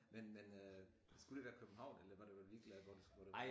Men men øh skulle de være København eller var du ligeglad hvor det hvor det var